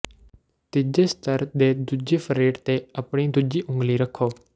ਤੀਜੀ ਸਤਰ ਦੇ ਦੂਜੇ ਫਰੇਟ ਤੇ ਆਪਣੀ ਦੂਜੀ ਉਂਗਲੀ ਰੱਖੋ